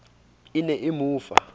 e ne e mo fa